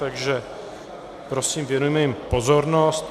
Takže prosím, věnujme jim pozornost.